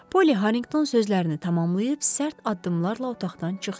Poli Harrinqton sözlərini tamamlayıb sərt addımlarla otaqdan çıxdı.